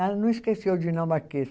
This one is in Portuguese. Ela não esqueceu o dinamarquês.